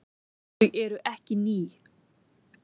Þau eru ekki ný.